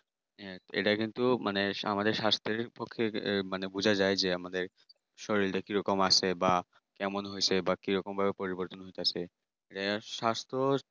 হ্যাঁ এটা কিন্তু মানে আমাদের স্বাস্থ্যের পক্ষে মানে বোঝা যায় যে শরীরটা কিরকম আছে বা কেমন হয়েছে বা কিরকম ভাবে পরিবর্তন ঘটেছে আহ স্বাস্থ্য